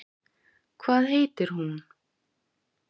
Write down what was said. Hvað heitir hún?